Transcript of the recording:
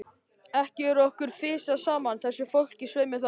Ekki er okkur fisjað saman, þessu fólki, svei mér þá!